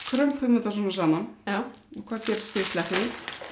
þetta svona saman og hvað gerist þegar ég sleppi því